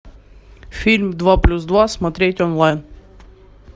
фильм два плюс два смотреть онлайн